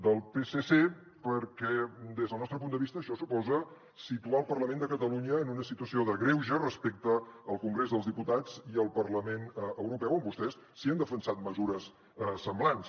del psc perquè des del nostre punt de vista això suposa situar el parlament de catalunya en una situació de greuge respecte al congrés dels diputats i al parlament europeu on vostès sí que han defensat mesures semblants